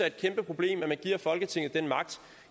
et kæmpeproblem at man giver folketinget den magt